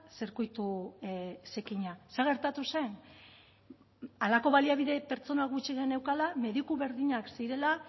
zirkuitu zikina zer gertatu zen halako baliabide pertsona gutxi geneukala mediku berdinak zirela